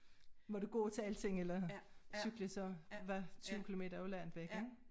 Må du gå til alting eller cykle så var 20 kilometer jo langt væk ik